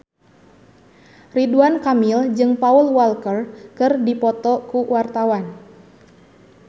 Ridwan Kamil jeung Paul Walker keur dipoto ku wartawan